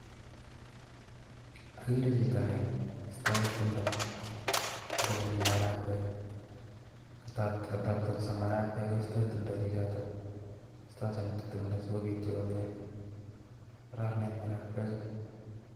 Agere chito neistoi timdo, eng' ole mii maragwek. Kataptanso maragwek koistoi timdo chichotok. Kiistoitochin timdo sikobityo komyee. Kararanen maragwek chuu